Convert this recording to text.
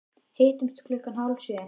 Hittumst klukkan hálf sjö.